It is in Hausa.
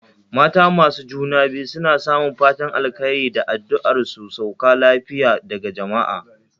Mata masu juna biyu suna samun fatan alkhairi da adduar su sauka lafiya daga jamaa